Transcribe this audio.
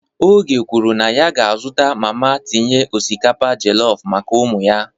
Oge kwuru na ya ga-azụta mama na-etinye osikapa jollof maka ụmụ ya.